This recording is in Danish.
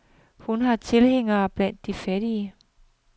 Hun har tilhængere blandt de fattige.